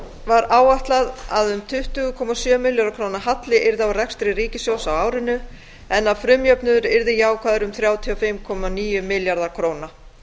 var áætlað að um tuttugu komma sjö milljarða króna halli yrði á rekstri ríkissjóðs á árinu en að frumjöfnuður yrði jákvæður um þrjátíu og fimm komma níu milljarða króna